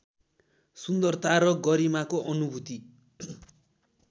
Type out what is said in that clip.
सुन्दरता र गरिमाको अनुभूति